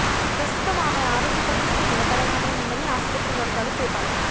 ప్రస్తుతం ఆమె ఆరోగ్య పరిస్తితి నిలకడగానే ఉందని ఆసుపత్రి వర్గాలు తెలిపాయి